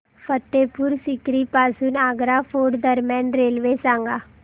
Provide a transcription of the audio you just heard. फतेहपुर सीकरी पासून आग्रा फोर्ट दरम्यान रेल्वे सांगा